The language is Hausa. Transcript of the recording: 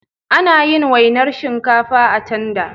Anayin wainar shinkafa a tanda